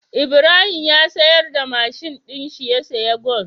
Ibrahim ya siyar da mashin din shi ya siya gwal